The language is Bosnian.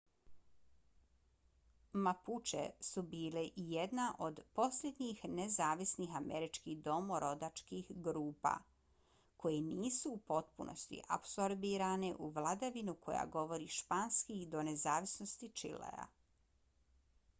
mapuche su bile i jedna od posljednjih nezavisnih američkih domorodačkih grupa koje nisu u potpunosti apsorbirane u vladavinu koja govori španski do nezavisnosti čilea